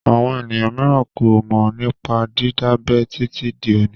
Àwọn ènìyàn mìíràn kò mọ̀ nípa dídábẹ títí di òní.